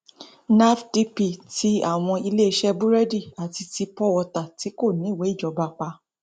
nafdp tí àwọn iléeṣẹ búrẹẹdì àti ti pọwọta tí kò níwèé ìjọba pa